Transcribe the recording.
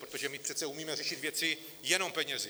Protože my přece umíme řešit věci jenom penězi.